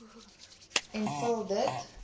en vul dit